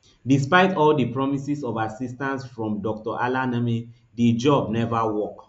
despite all di promises of assistance from dr alaneme di job neva work